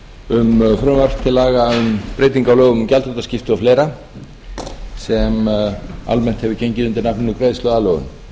um frumvarp til laga um breytingu á lögum um gjaldþrotaskipti og fleira sem almennt hefur gengið undir nafninu greiðsluaðlögun